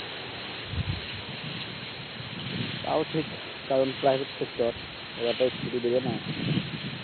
তাও ঠিক কারণ প্রাইভেট সেক্টর ওরা তো আর ছুটি দিবে না